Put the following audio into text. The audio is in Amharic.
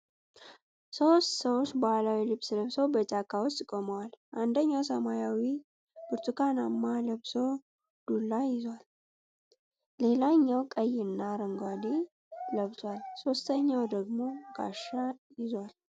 ሶስት ሰዎች ባህላዊ ልብስ ለብሰው በጫካ ውስጥ ቆመዋል። አንደኛው ሰማያዊና ብርቱካናማ ለብሶ ዱላ ይዟል፤ ሌላኛው ቀይና አረንጓዴ ለብሷል፤ ሶስተኛው ደግሞ ጋሻ ይዟል።